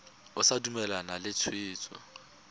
o sa dumalane le tshwetso